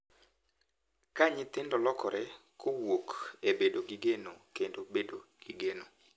Ka nyithindo lokore kowuok e bedo gi geno kendo bedo gi geno.